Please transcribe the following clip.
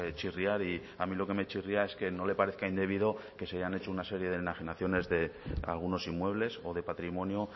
chirriar y a mí lo que me chirría es que no le parezca indebido que se hayan hecho una serie de enajenaciones de algunos inmuebles o de patrimonio